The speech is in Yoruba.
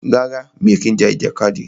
Rárá, mi ò kí ń ja ìjàkadì.